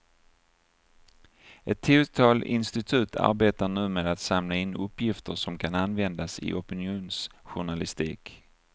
Ett tiotal institut arbetar nu med att samla in uppgifter som kan användas i opinionsjournalistik.